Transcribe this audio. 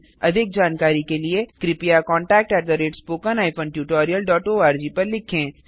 अधिक जानकारी के लिए कृपया contactspoken tutorialorg पर लिखें